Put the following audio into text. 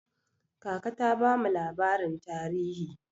Kaka ta bamu labarin tarihi.